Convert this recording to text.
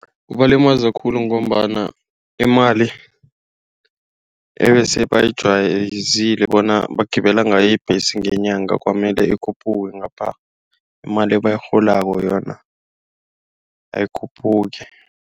Kubalimaza khulu ngombana imali ebese bajwayele bona bagibele ngayo ibhesi ngenyanga kwamele ikhuphuke. Ngapha imali ebayirholako yona ayikhuphuki.